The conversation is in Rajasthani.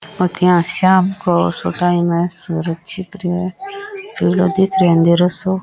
एतयो शाम का टाइम है सूरज छिप रे है पिलो दिख रे अंधेरो सो।